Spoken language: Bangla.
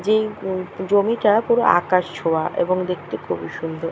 যেই উ জমিটা পুরো আকাশ ছোঁয়া এবং দেখতে খুবই সুন্দর।